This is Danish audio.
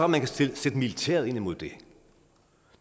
man kan sætte militæret ind mod det